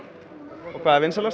og hvað er vinsælast